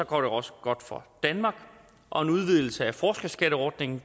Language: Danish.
går det også godt for danmark og en udvidelse af forskerskatteordningen